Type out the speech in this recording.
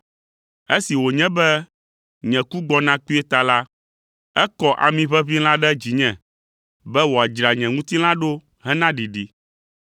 Esi wònye be nye ku gbɔna kpuie ta la, ekɔ ami ʋeʋĩ la ɖe dzinye be wòadzra nye ŋutilã ɖo hena ɖiɖi.